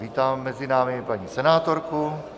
Vítám mezi námi paní senátorku.